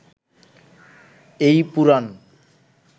এই পুরাণ